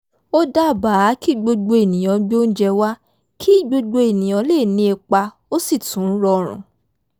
ó dábàá kí gbogbo ènìyàn gbé óúnjẹ wa kí gbogbo ènìyàn lè ní ipa ó sì tún rọrun